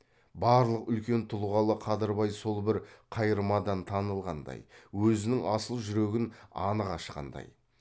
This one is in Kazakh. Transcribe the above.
барлық үлкен тұлғалы қадырбай сол бір қайырмадан танылғандай өзінің асыл жүрегін анық ашқандай